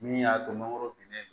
Min y'a to mangoro binnen don